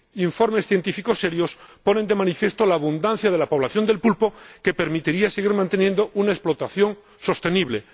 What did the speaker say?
informes científicos serios ponen de manifiesto la abundancia de la población de pulpo que permitiría seguir manteniendo una explotación sostenible.